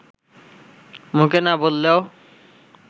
মুখে না বললেও